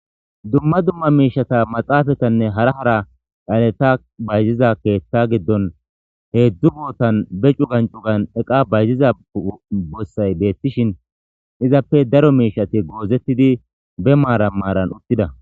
Dumma dumma miishetha maxaafethanne hara hara xaletha bayziza keeththaa giddon heezzu boothan be cugan cugan bossay beeththishee izappe daro miishshathi goozeththidi be maaran maaran uththida.